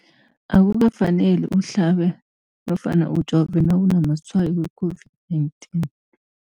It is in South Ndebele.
Akukafaneli uhlabe nofana ujove nawunamatshayo we-COVID-19 .